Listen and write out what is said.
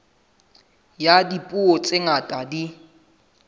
ya dipuo tse ngata di